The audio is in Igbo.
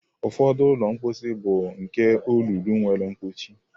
Ụfọdụ ụlọ mposi bụ nke olulu nwere mkpuchi.